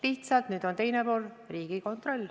Lihtsalt nüüd on teine pool Riigikontroll.